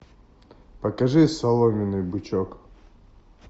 покажи соломенный бычок